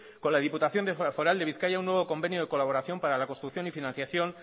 con la diputación foral de bizkaia un nuevo convenio de colaboración para la construcción y financiación